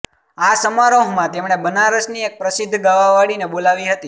આ સમારોહમાં તેમણે બનારસની એક પ્રસિદ્ધ ગાવાવાળીને બોલાવી હતી